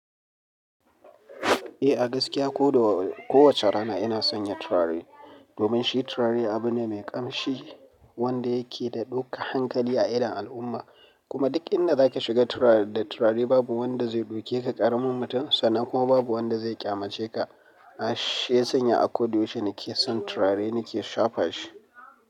Eh a gaskiya ko do-kowace rana ina sanya turare domin shi turare abu ne mai ƙamshi wanda yake da ɗuka hankali a idon al'umma. Kuma duk inda za ki shiga da turare da turare babu wanda zai ɗauke ka ƙaramin mutum, sanan kuma babu wanda zai ƙyamace ka. Har shi yasanya a koda yaushe nake son turare nake shafa shi.